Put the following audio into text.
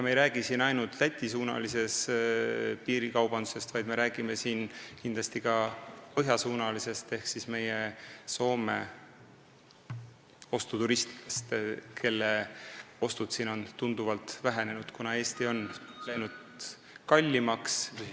Me ei räägi siin ainult Läti-suunalisest piirikaubandusest, vaid me räägime kindlasti ka põhjasuunalisest piirikaubandusest ehk Soome ostuturistidest, kelle ostud siin on tunduvalt vähenenud, kuna Eestis on läinud kaup kallimaks.